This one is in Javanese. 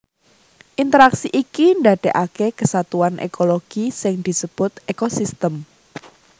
Interaksi iki ndadekake kesatuan ekologi sing disebut ekosistem